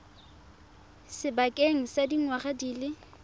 sebakeng sa dingwaga di le